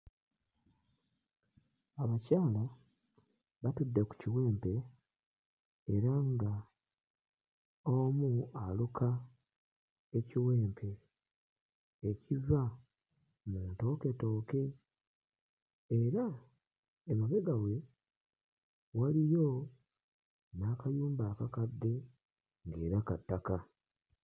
Abakyala batudde ku kiwempe era nga omu aluka ekiwempe ekiva mu ntooketooke era emabega we waliyo n'akayumba akakadde ng'era ka ttaka.